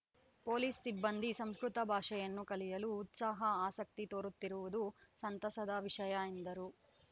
police ಸಿಬ್ಬಂದಿ ಸಂಸ್ಕೃತ ಭಾಷೆಯನ್ನು ಕಲಿಯಲು ಉತ್ಸಾಹ ಆಸಕ್ತಿ ತೋರುತ್ತಿರುವುದು ಸಂತಸದ ವಿಷಯ ಎಂದರು